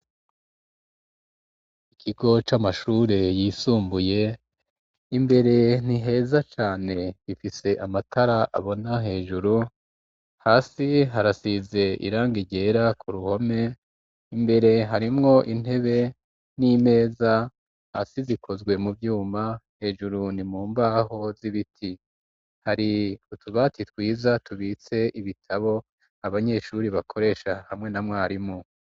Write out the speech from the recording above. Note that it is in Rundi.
Ikigo c'amashure yisumbuye, imbere ntiheza cane ifise amatara abona hejuru hasi harasize iranga ryera, ku ruhome imbere harimwo intebe n'imeza asi zikozwe mu vyuma hejuru ni mumbaho z'ibiti hari utubati twiza tubitse ibitabo abanyeshuri bakoresha hamwe na mwarimu.